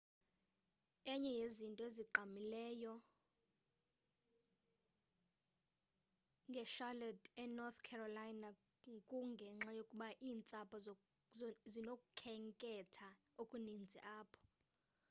enye yezinto ezigqamileyo nge-charlotte e-north carolina kungenxa yokuba iintsapho zinokukhetha okuninzi apho